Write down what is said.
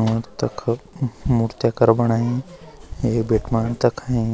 और तख मुर्तिकर बणाई ए बेट मा तखई